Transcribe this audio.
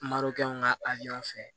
Marɔkɛ ka a yan fɛ